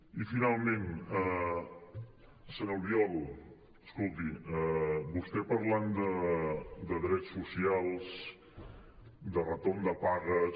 i finalment senyor albiol escolti vostè parlant de drets socials de retorn de pagues